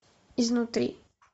изнутри